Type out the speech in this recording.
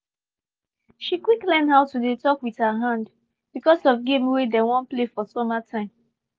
she quick learn how to dey talk with her hand becasue of game wey dem wan play for summer time